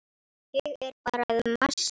Ég er bara að masa.